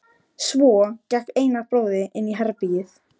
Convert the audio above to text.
Svo gekk Einar bróðir inn í herbergið.